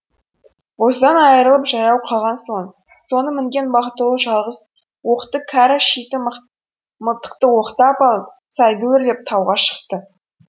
боздан айрылып жаяу қалған соң соны мінген бақтығұл жалғыз оқты кәрі шиті мылтықты оқтап алып сайды өрлеп тауға шықты